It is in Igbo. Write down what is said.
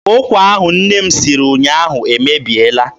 Ụkwa ahụ nne m siri ụnyaahụ emebiela.